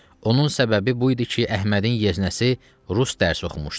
Onun səbəbi bu idi ki, Əhmədin yeznəsi rus dərsi oxumuşdu.